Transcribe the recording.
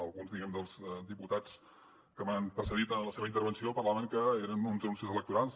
alguns dels diputats que m’han precedit en la seva intervenció parlaven que eren uns anuncis electorals